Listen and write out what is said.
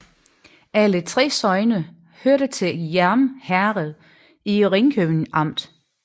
Alle 3 sogne hørte til Hjerm Herred i Ringkøbing Amt